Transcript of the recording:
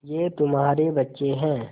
ये तुम्हारे बच्चे हैं